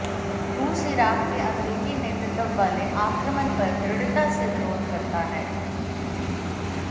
रूस इराक़ के अमेरिकी नेतृत्व वाले आक्रमण पर दृढ़ता से विरोध करता है